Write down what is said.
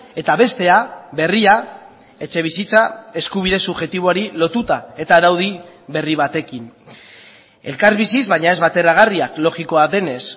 eta bestea berria etxebizitza eskubide subjektiboari lotuta eta araudi berri batekin elkarbiziz baina ez bateragarriak logikoa denez